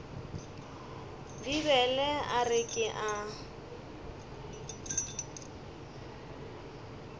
bibele a re ke a